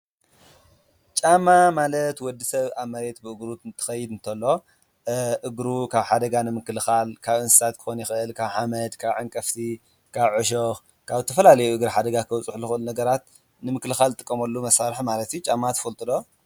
ጫማ ማለት ወዲሰብ ኣብ መሬት ብእግሩ እንትከይድ እንቶሎ እግሩ ካብ ሓደጋ ንምክልካል ካብ እንስሳት ክከውን ይክእል፣ ካብ ሓመድ፣ ካብ ዓንቀፍቲ፣ ካብ ዕሾክ፣ ካብ ዝተፈላለዩ ንእግሪ ሓደጋ ከብፅሑ ካብ ዝክእሉ ነገራት ምክልካል ንጥቀመሉ መሳርሒእዩ። ጫማ ትፈልጡ ዶ?